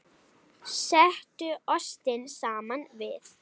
Settu ostinn saman við.